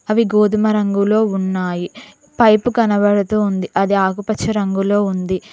అవి గోధుమ రంగులో ఉన్నాయి పైపు కనబడుతూ ఉంది అది ఆకుపచ్చ రంగులో ఉంది.